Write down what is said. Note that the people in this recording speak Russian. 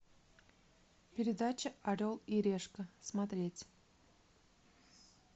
передача орел и решка смотреть